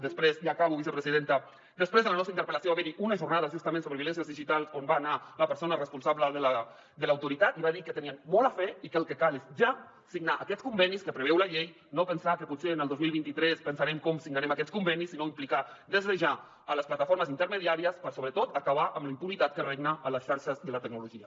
després ja acabo vicepresidenta de la nostra interpel·lació va haver hi unes jornades justament sobre violències digitals on va anar la persona responsable de l’autoritat i va dir que tenien molt a fer i que el que cal és ja signar aquests convenis que preveu la llei no pensar que potser el dos mil vint tres pensarem com signarem aquests convenis sinó implicar des de ja les plataformes intermediàries per sobretot acabar amb la impunitat que regna a les xarxes i a la tecnologia